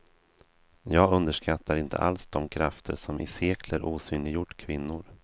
Jag underskattar inte alls de krafter som i sekler osynliggjort kvinnor.